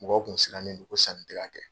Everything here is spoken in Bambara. Mɔgɔw kun siranlen do ko sanni tɛ ka kɛ.